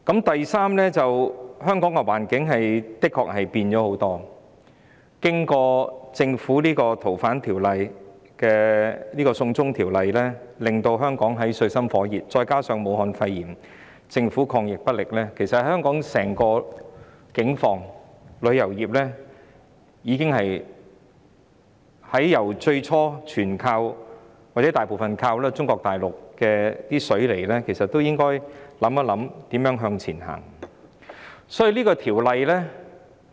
第三，香港的環境確實經歷很大轉變；經過政府為修訂《逃犯條例》而提出"送中條例草案"後，香港陷入水深火熱之中，加上政府對抗"武漢肺炎"疫情不力，其實在香港如此整體境況下，旅遊業由最初全部或大部分依靠中國大陸"放水"來港，到現時應思考如何向前邁進。